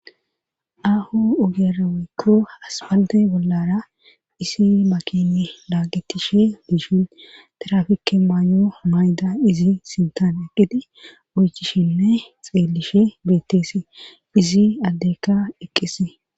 ahu ugeraweykko aspalte bollara isi makini laagettishe biishin tirafikke maayo mayda izi sintan eqqite oychishinne xeelishe betteese izi addekka eqqise